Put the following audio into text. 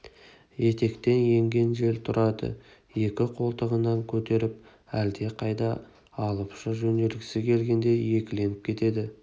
етектен енген жел тұрарды екі қолтығынан көтеріп әлдеқайда алып ұша жөнелгісі келгендей екіленіп кетеді